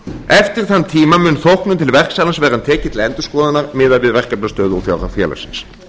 eftir þann tíma mun þóknun til verksala verða tekin til endurskoðunar miðað við verkefnastöðu og fjárhag félagsins